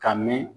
Ka mɛn